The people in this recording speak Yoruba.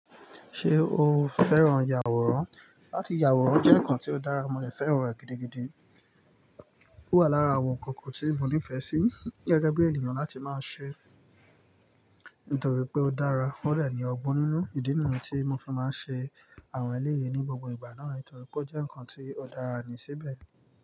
Ṣé o fẹ́ràn yàwòrán? Láti yàwòrán jẹ́ nǹkan tó dára, mo dẹ̀ fẹ́ràn rẹ̀ gidigidi. Ó wà lára àwọn nǹkan kan tí mo nífẹ̀ẹ́ sí gẹgẹ bí ènìyàn láti máa ṣe, nítorí pé ó dára. O dẹ̀ ni ọgbọ́n nínú ìdí nìyẹn tí mo fi máa ń ṣe àwọn eléyi ní gbogbo ìgbà náà, nítorí pé ó jẹ́ nǹkan tí ó dára ni síbẹ̀.